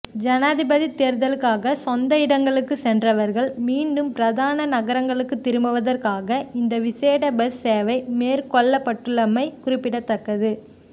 ஜனாதிபதித் தேர்தலுக்காக சொந்த இடங்களுக்கு சென்றவர்கள் மீண்டும் பிரதான நகரங்களுக்குத் திரும்புவதற்காக இந்த விசேட பஸ் சேவை மேற்கொள்ளப்பள்ளப்பட்டுள்ளமை குறிப்பிடத்தக்கது